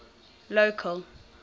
local